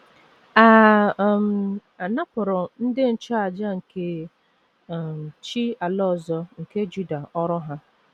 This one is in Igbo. A um napụrụ ndị nchụàjà nke um chi ala ọzọ nke Juda ọrụ ha.